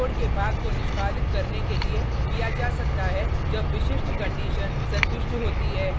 code के भाग को निष्पादित करने के लिए किया जा सकता है जब विशिष्ट कंडिशन संतुष्ट होती है